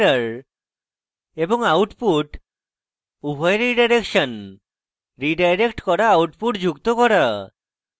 standard error এবং output উভয়ের redirection এবং রীডাইরেক্ট করা output যুক্ত করা